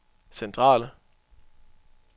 centrale